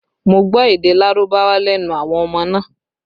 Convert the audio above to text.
Mo gbọ́ èdè Lárúbáwá lẹ́nu àwọn ọmọ náà